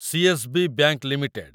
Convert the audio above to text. CSB. Bank limited